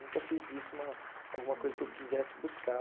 Nunca fiz disso uma alguma coisa que eu quisesse buscar.